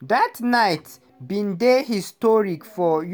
dat night bin dey historic for